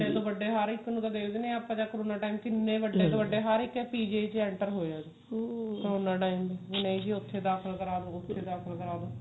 ਵੱਡੇ ਤੋ ਵੱਡੇ ਹਰ ਇੱਕ ਨੂੰ ਦੇਖਦੇ ਹਾਂ ਆਪਾਂ ਜਦ ਉਹਨਾਂ time ਕਿੰਨੇ ਵੱਡੇ ਤੋਂ ਵੱਡੇ ਹਰ PGIਚ enter ਹੋ ਜਾਂਦੇ ਨੇ ਉਹਨਾਂ time ਨਹੀਂ ਉੱਥੇ ਦਾਖਲ ਕਰਾਲੋ ਉੱਥੇ ਦਾਖਲ ਕਰਾਦੋ